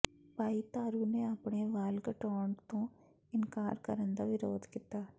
ਭਾਈ ਤਾਰੂ ਨੇ ਆਪਣੇ ਵਾਲ ਘਟਾਉਣ ਤੋਂ ਇਨਕਾਰ ਕਰਨ ਦਾ ਵਿਰੋਧ ਕੀਤਾ